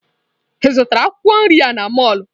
Ị zụtara akwụkwọ nri a n'mọlụ?